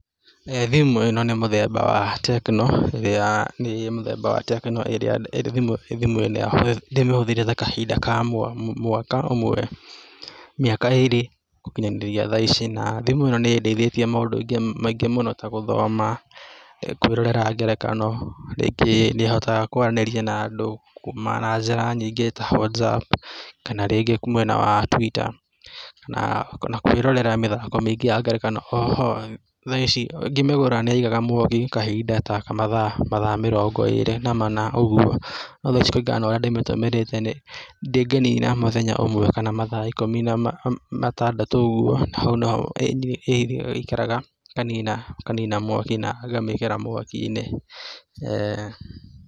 Thĩmũ ĩno nĩ mũthemba wa Tecno ĩrĩa nĩ mũthemba wa Tecno ĩrĩa ndĩmĩhũthĩrĩte ta kahinda ka mwaka ũmwe, mĩaka ĩrĩ gũkinyanĩria thaa ici, thimũ ĩno nĩ ĩndeithĩtie maũndũ maingĩ mũno ta gũthoma, kwĩrorera ngerekano rĩngĩ nĩ hotaga kwaranĩria na andũ kumana na njĩra nyingĩ ta Whatsapp kana rĩngĩ mwena wa Twitter kana na kwĩrorera mĩthako mĩingĩ ya ngerekano, thaa ici ngĩmĩgũra nĩyaigaga mwaki kahinda ta mathaa mĩrongo ĩrĩ na mana ũguo no thaa ici kũringa na ũrĩa ndĩmĩtũmĩrĩte ndĩnina mũthenya ũmwe kana mathaa ikũmi na matandatũ ũguo na hau nĩyo ĩikaraga ĩkanina mwaki na ngamĩkĩra mwaki -inĩ .